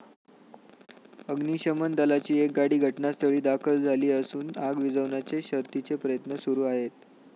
अग्निशमन दलाची एक गाडी घटनास्थळी दाखल झाली असून आग विझवण्याचे शर्थीचे प्रयत्न सुरु आहेत.